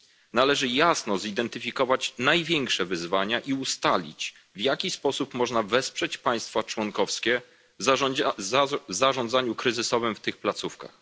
Należy jasno zidentyfikować największe wyzwania i ustalić, w jaki sposób można wesprzeć państwa członkowskie w zarządzaniu kryzysowym w tych placówkach.